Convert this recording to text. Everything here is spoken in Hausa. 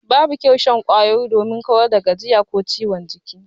Babu kyau shan kwayoyi domin kawar da gajiya ko ciwon jiki.